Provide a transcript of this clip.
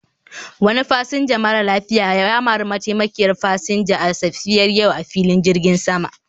Wani fasinja mara lafiya ya mari mataimakiyar fasinja a safiyar yau a filin jirgin sama